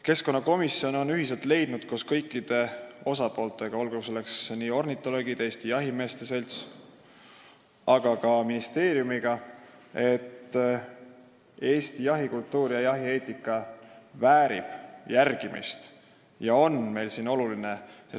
Keskkonnakomisjon on ühiselt, koos kõikide osapooltega leidnud – koos ornitoloogide, Eesti Jahimeeste Seltsi, aga ka ministeeriumiga –, et Eesti jahikultuur ja jahieetika väärivad järgimist, see on meile oluline.